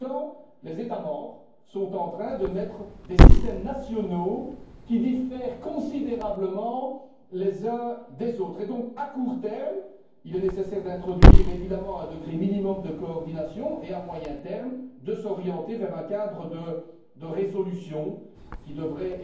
Entre temps, les États membres sont en train de mettre en place des systèmes nationaux qui diffèrent considérablement les uns des autres et donc, à court terme, il est nécessaire d'introduire un degré minimum de coordination et, à moyen terme, de s'orienter vers un cadre de résolution qui devrait